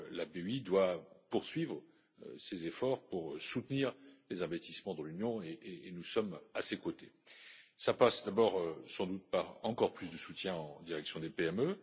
La BEI doit poursuivre ses efforts pour soutenir les investissements dans l'Union et nous sommes à ses côtés. Cela passe d'abord, sans doute, par encore plus de soutien en direction des PME.